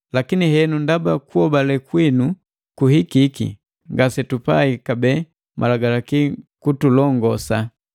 Lakini henu ndaba kuhobale kwinu kuhikiki, ngasetupai kabee Malagalaki kutulongosa.